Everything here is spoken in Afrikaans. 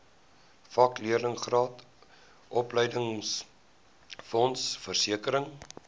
vakleerlingraad opleidingsfonds versekering